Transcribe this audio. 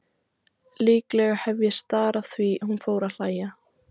Líklega hef ég starað því hún fór að hlæja.